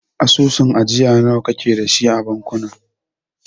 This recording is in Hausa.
Asusun ajiya nawa kake dashi a bankuna?